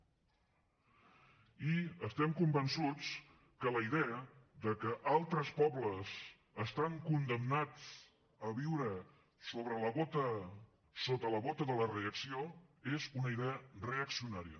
i estem convençuts que la idea de que altres pobles estan condemnats a viure sota la bota de la reacció és una idea reaccionària